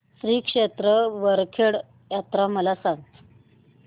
श्री क्षेत्र वरखेड यात्रा मला सांग